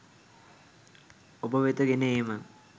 ඔබවෙත ගෙන ඒම